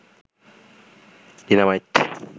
dynamite